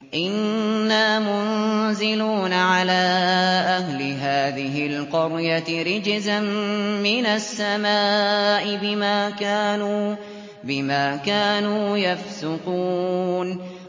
إِنَّا مُنزِلُونَ عَلَىٰ أَهْلِ هَٰذِهِ الْقَرْيَةِ رِجْزًا مِّنَ السَّمَاءِ بِمَا كَانُوا يَفْسُقُونَ